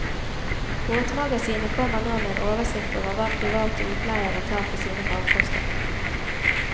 Båtmagasinet kommer nå med en oversikt over hva private utleiere tar for sine farkoster.